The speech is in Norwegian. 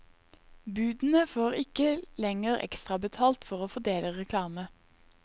Budene får ikke lenger ekstrabetalt for å fordele reklame.